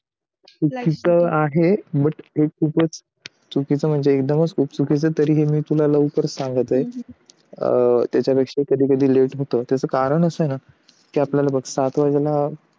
चुकीचे आहे बट एक चुकीच चे म्हणजे एकदम चुकीचेतरी पण मी तुला लवकर सांगतो आहे त्याच्या पेक्षा कधी कधी लेट होत त्याच कारण असं ना कि बघ आपल्याला सात वाजेला